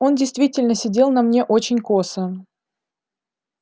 он действительно сидел на мне очень косо